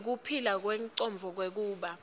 nekuphila kwengcondvo kwekuba